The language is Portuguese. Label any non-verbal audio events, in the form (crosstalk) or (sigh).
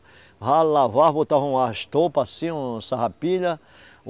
Lavava, botava uma estopa assim, uma sarrapilha. (unintelligible)